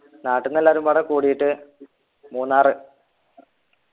നാട്ടിന്നു എല്ലാരും പാടെ കൂടീട്ട് മൂന്നാറ്